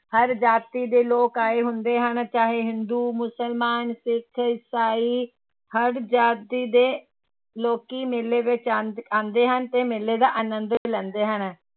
ਹਰ ਜਾਤੀ ਦੇ ਲੋਕ ਆਏ ਹੁੰਦੇ ਹਨ ਚਾਹੇ ਹਿੰਦੂ, ਮੁਸਲਮਾਨ, ਸਿੱਖ, ਇਸਾਈ ਹਰ ਜਾਤੀ ਦੇ ਲੋਕੀ ਮੇਲੇ ਵਿੱਚ ਆਉਂਦ ਆਉਂਦੇ ਹਨ ਤੇ ਮੇਲੇ ਦਾ ਆਨੰਦ ਲੈਂਦੇ ਹਨ।